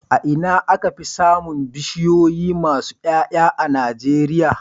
A Ina aka Fi samin bishiyoyi masu Y'ay'a a nigeria